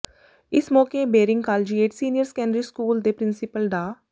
ਇਸ ਮੌਕੇੇ Baring collegiate senior secondary school ਦੇ ਪਿ੍ਰੰਸੀਪਲ ਡਾ